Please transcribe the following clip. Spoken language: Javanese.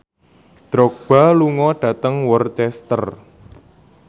Drogba lunga dhateng Worcester